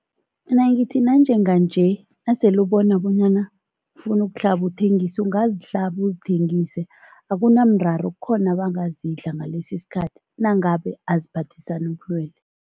Mina ngithi nanjenganje nasele ubona bonyana ufuna ukuhlaba, uthengise ungazihlaba uzithengise, akunamraro, kukhona abangazidla ngalesi isikhathi, nangabe aziphathisani ubulwelwe.